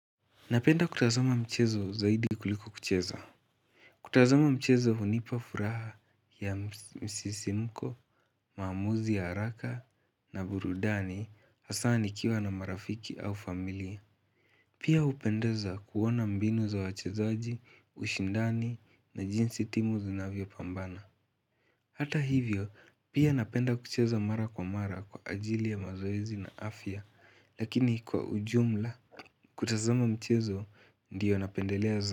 Napenda kutazama mchezo zaidi kuliko kucheza. Kutazama mchezo hunipa furaha ya msisimko, maamuzi, haraka na burudani, hasa nikiwa na marafiki au familia. Pia hupendeza kuona mbinu za wachezaji, ushindani na jinsi timu zinavyopambana. Hata hivyo, pia napenda kucheza mara kwa mara kwa ajili ya mazoezi na afya, lakini kwa ujumla. Kutazama mchezo ndiyo napendelea zaidi.